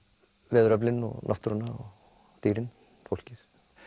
veðuröflin og náttúruna og dýrin fólkið